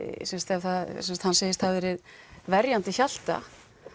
ef hann segist hafa verið verjandi Hjalta